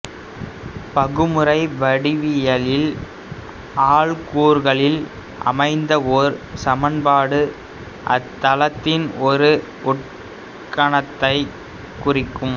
பகுமுறை வடிவவியலில் ஆள்கூறுகளில் அமைந்த ஒரு சமன்பாடு அத்தளத்தின் ஒரு உட்கணத்தைக் குறிக்கும்